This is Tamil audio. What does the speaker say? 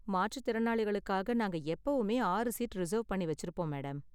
மாற்றுத்திறனாளிகளுக்காக நாங்க எப்பவுமே ஆறு சீட் ரிசர்வ் பண்ணி வெச்சிருப்போம் மேடம்.